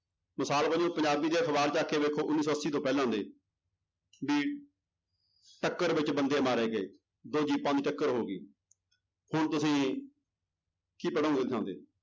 ਮਿਸਾਲ ਵਜੋਂ ਪੰਜਾਬੀ ਦੇ ਅਖ਼ਬਾਰ ਚੁੱਕ ਕੇ ਵੇਖੋ ਉੱਨੀ ਸੌ ਅੱਸੀ ਤੋਂ ਪਹਿਲਾਂ ਦੇ ਵੀ ਟੱਕਰ ਵਿੱਚ ਬੰਦੇ ਮਾਰੇ ਗਏ ਦੋ ਜੀਪਾਂ ਦੀ ਟੱਕਰ ਹੋ ਗਈ ਹੁਣ ਤੁਸੀਂ ਕੀ ਪੜ੍ਹੋਂਗੇ ਉਹਦੀ ਥਾਂ ਤੇ